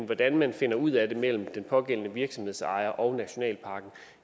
hvordan man finder ud af det mellem den pågældende virksomhedsejer og nationalparken